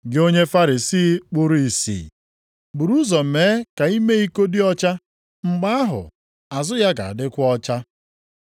Gị onye Farisii kpuru ìsì! Buru ụzọ mee ka ime iko dị ọcha, mgbe ahụ azụ ya ga-adịkwa ọcha.